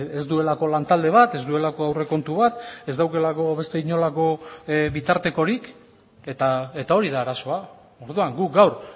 ez duelako lantalde bat ez duelako aurrekontu bat ez daukalako beste inolako bitartekorik eta hori da arazoa orduan guk gaur